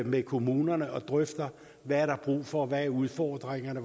med kommunerne og drøfter hvad der er brug for og hvad udfordringerne